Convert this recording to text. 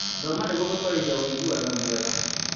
Thoma nĩguo gũtwarithia ũiguano mwega.